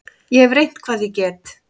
Ég hef reynt hvað ég get.